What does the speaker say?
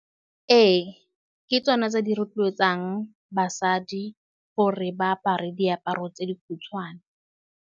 Ee, ke tsone tse di rotloetsang basadi gore ba apare diaparo tse di khutshwane.